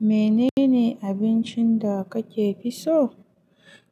Menene abincin da kakefi so?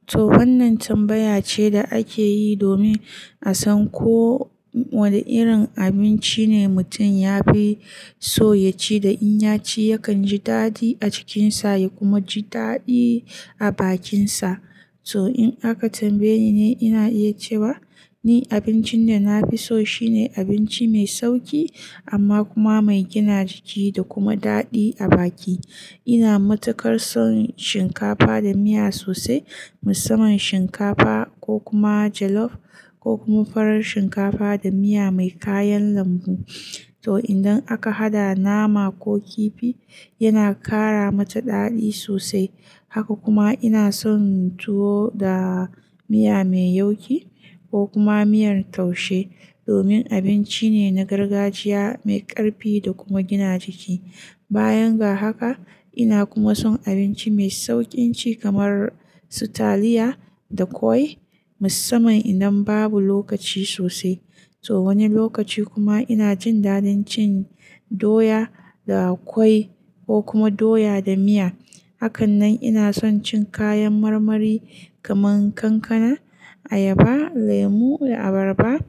To wannan tambaya ce da ake yi domin a san ko wane irin abinci ne mutum ya fi so ya ci da in ya ci yakan ji daɗi a cikinsa ya kuma ji daɗi a bakinsa. To in aka tambaye ni, ina iya cewa ni abincin da na fi so shine abinci mai sauƙi amma kuma mai gina jiki da kuma daɗi a baki. Ina matukar son shinkafa da miya sosai, musamman shinkafa ko kuma jollof ko kuma farar shinkafa da miya mai kayan lambu. To idan aka haɗa nama ko kifi yana ƙara mata daɗi sosai. Haka kuma ina son tuwo da miya mai yauƙi ko kuma miyar taushe domin abinci ne na gargajiya mai ƙarfi da kuma gina jiki. Bayan ga haka ina kuma son abinci mai sauƙin ci kamar sutaliya da ƙwai musamman idan babu lokaci sosai. To wani lokaci kuma ina jin daɗin cin doya da ƙwai ko kuma doya da miya. Hakan nan ina son cin kayan marmari kaman kankana, ayaba, lemu, abarba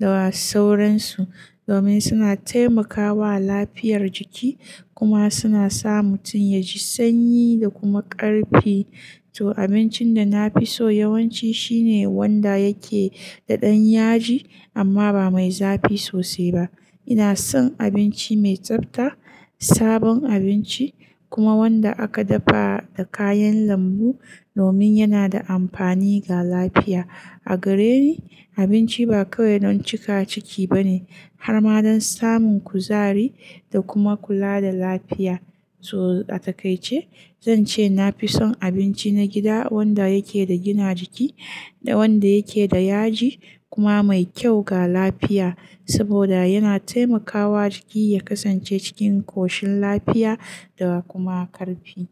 da sauransu domin suna taimakawa lafiyar jiki kuma suna sa mutum ya ji sanyi da kuma ƙarfi. To abincin da na fi so yawanci shine wanda yake da ɗan yaji amma ba mai zafi sosai ba. Ina son abinci mai tsafta, sabon abinci kuma wanda aka dafa da kayan lambu domin yana da amfani ga lafiya. A gareni abinci ba kawai don cika ciki ba ne har ma don samun kuzari da kuma kula da lafiya. To a takaice zan ce na fi son abinci na gida wanda yake da gina jiki da wanda yake da yaji kuma mai kyau ga lafiya saboda yana taimakawa jiki ya kasance cikin koshin lafiya da kuma ƙarfi.